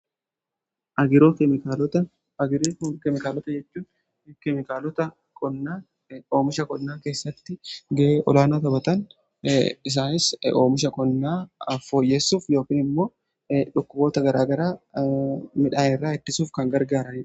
Agiroo keemikaalota jechuun kklotaoomisha konnaa keessatti ga'ee olaanaa taphatan isaanis oomisha konnaa afooyyessuuf yookn immoo dhokkuboota garaagaraa midhaane irraa ittisuuf kan gargaarudha.